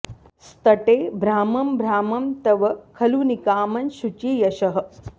स्तटे भ्रामं भ्रामं तव खलु निकामं शुचि यशः